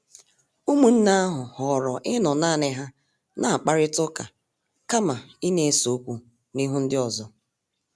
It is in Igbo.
Ụmụnne ahụ họọrọ ịnọ naani ha na-akparita ụka kama ịna-ese okwu n'ihu ndi ọzọ.